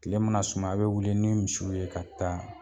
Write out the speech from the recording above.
Kile mana sumaya a bɛ wili ni misiw ye ka taa